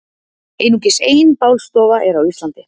einungis ein bálstofa er á íslandi